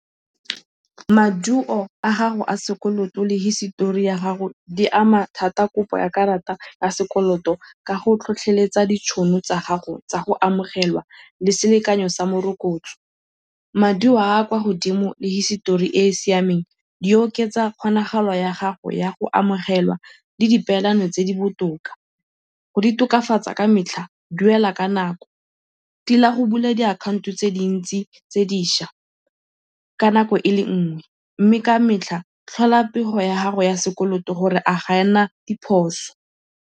Maduo a gago a sekoloto le hisitori ya gago di ama thata kopo ya karata ya sekoloto ka go tlhotlheletsa ditšhono tsa gago tsa go amogelwa le selekanyo sa morokotso. Maduo a a kwa godimo le hisitori e e siameng di oketsa kgonagalo ya gago ya go amogelwa le dipeelano tse di botoka. Go di tokafatsa ka metlha, duela ka nako, tila go bula diakhaonto tse dintsi tse dišwa ka nako e le nngwe mme ka metlha tlhola pego ya gago ya sekoloto gore a ga e na diphoso.